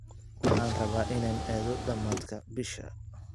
Waxaan rabaa inaan aado dhamaadka bisha